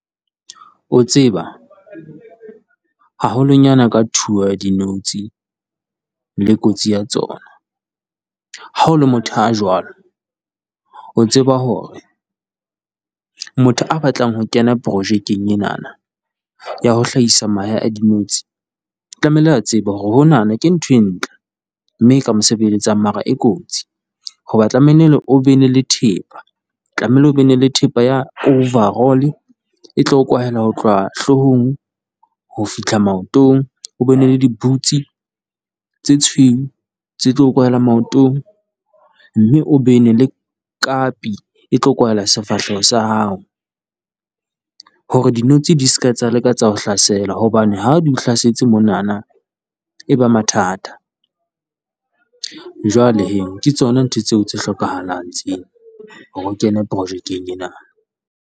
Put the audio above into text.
O tseba, haholonyana ka thuo ya dinotsi le kotsi ya tsona? Ha o le motho a jwalo, o tseba hore motho a batlang ho kena projekeng enana ya ho hlahisa mahe a dinotsi, o tlamehile a tseba hore hona ke ntho e ntle. Mme ka mo sebeletsang mara e kotsi ho ba tlamehile o be le thepa, o tlamehile o be le thepa ya overall. E tlo kwahela ho tloha hloohong ho fihla maotong, o be le dibutse tse tshweu tse tlo kwala maotong, mme o be le kapi e tlo kwala sefahleho sa hao hore dinotsi di seka tsa leka ho o hlasela hobane ha di o hlasetse monana eba mathata, jwale ke tsona ntho tseo tse hlokahalang hore o kene projekeng ena.